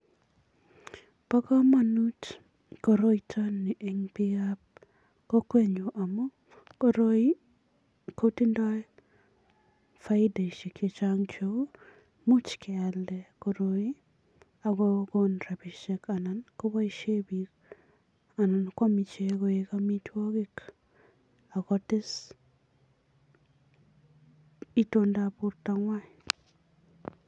Bo kamanut koroito ni eng biikab kokwenyu amun koroi kotindoi faideshek chechang cheu, much kealda koroi ak kokon rapishek anan kopoishe biik anan kwaam ichek koek amitwokik ako tes itoondab bortongwai.